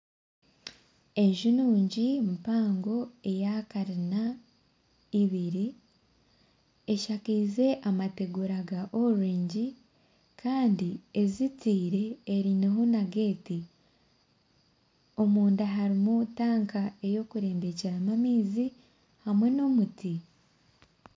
Enju nungi mpango eya karina ibiri, eshakaize amategura ga orengi kandi ezitiire einemu na geeti. Omunda harimu tanka ey'okurembekyeramu amaizi hamwe n'emiti.